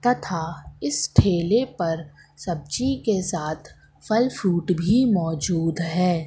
तथा इस ठेले पर सब्जी के साथ फल फ्रूट भी मौजूद है।